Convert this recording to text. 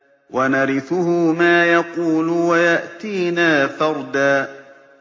وَنَرِثُهُ مَا يَقُولُ وَيَأْتِينَا فَرْدًا